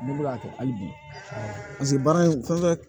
Ne bɛ k'a kɛ hali bi paseke baara in fɛn